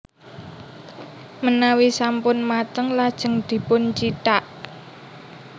Menawi sampun mateng lajeng dipuncithak